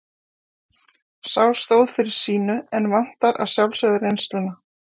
Sá stóð fyrir sínu en vantar að sjálfsögðu reynsluna.